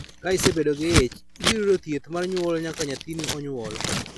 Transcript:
Ka isebedo gi ich, ibiro yudo thieth mar nyuol nyaka nyathini onyuol.